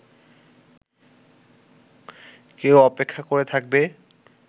কেউ অপেক্ষা করে থাকবে